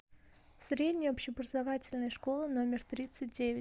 средняя общеобразовательная школа номер тридцать девять